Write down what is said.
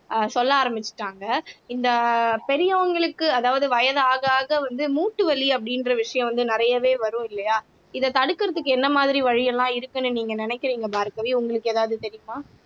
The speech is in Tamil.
அஹ் சொல்ல ஆரம்பிச்சுட்டாங்க இந்த பெரியவங்களுக்கு அதாவது வயது ஆக ஆக வந்து மூட்டு வலி அப்படின்ற விஷயம் வந்து நிறையவே வரும் இல்லையா இதை தடுக்குறதுக்கு என்ன மாதிரி வழி எல்லாம் இருக்குன்னு நீங்க நினைக்கிறீங்க பார்கவி உங்களுக்கு ஏதாவது தெரியுமா